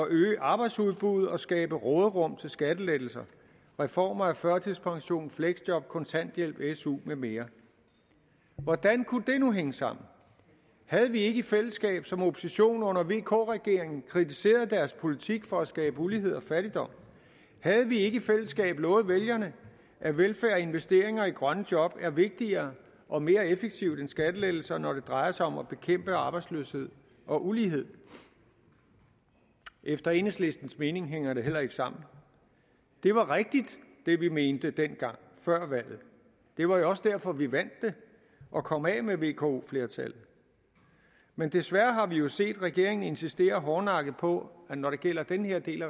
øge arbejdsudbuddet og skabe råderum til skattelettelser reformer af førtidspension fleksjob kontanthjælp su med mere hvordan kunne det nu hænge sammen havde vi ikke i fællesskab som opposition under vk regeringen kritiseret deres politik for at skabe ulighed og fattigdom havde vi ikke i fællesskab lovet vælgerne at velfærd og investeringer i grønne job er vigtigere og mere effektive end skattelettelser når det drejer sig om at bekæmpe arbejdsløshed og ulighed efter enhedslistens mening hænger det heller ikke sammen det var rigtigt hvad vi mente dengang før valget det var jo også derfor at vi vandt det og kom af med vko flertallet men desværre har vi jo set regeringen insistere hårdnakket på at når det gælder den her del